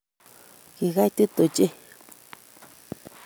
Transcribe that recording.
Kikaitit ochei